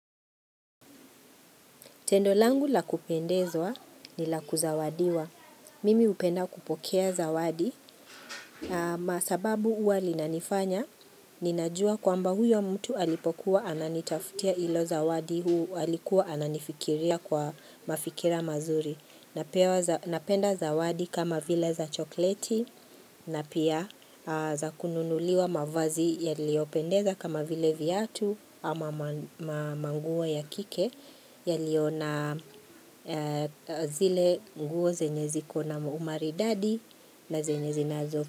Tendo langu la kupendezwa ni la kuzawadiwa. Mimi upenda kupokea zawadi. Masababu huwa linanifanya, ninajua kwamba huyo mtu alipokuwa ananitafutia ilo zawadi huu alikuwa ananifikiria kwa mafikira mazuri. Napewa Napenda zawadi kama vile za chokleti na pia za kununuliwa mavazi yaliyopendeza kama vile viatu ama manguo ya kike yaliyo na zile nguo zenye ziko na umaridadi na zenye zinazo.